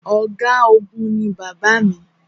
Ọ̀̀gágun ní bàbá mi.